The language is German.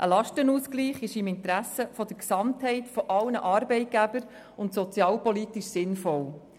Ein Lastenausgleich liegt im Interesse der Gesamtheit aller Arbeitgeber und ist sozialpolitisch sinnvoll.